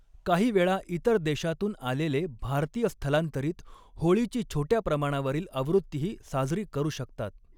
काहीवेळा इतर देशांतून आलेले भारतीय स्थलांतरित होळीची छोट्या प्रमाणावरील आवृत्तीही साजरी करू शकतात.